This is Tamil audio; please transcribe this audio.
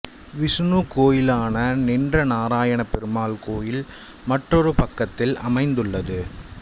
விசுணு கோயிலான நின்ற நாராயண பெருமாள் கோயில் மற்றொரு பக்கத்தில் அமைந்துள்ளது